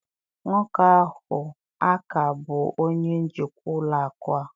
Nwoke ahụ a ka bụ onye njikwa ụlọ akụ a?